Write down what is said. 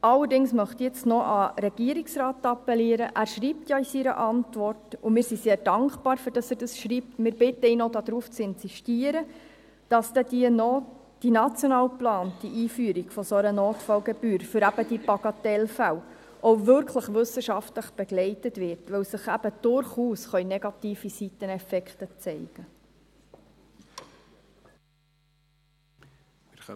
Allerdings möchte ich noch an den Regierungsrat appellieren – er schreibt ja in seiner Antwort, und wir sind sehr dankbar, dass er dies schreibt, und bitten ihn zu insistieren –, dass die national geplante Einführung einer solchen Notfallgebühr für die Bagatellfälle auch wirklich wissenschaftlich begleitet wird, weil sich durchaus negative Seiteneffekte zeigen könnten.